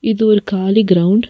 இது ஒரு காளி கிரௌண்ட் .